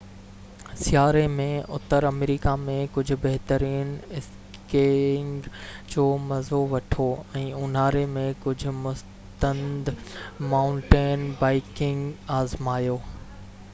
سياري ۾ اتر آمريڪا ۾ ڪجهه بهترين اسڪيئنگ جو مزو وٺو ۽ اونهاري ۾ ڪجھ مستند مائونٽين بائيڪنگ آزمايو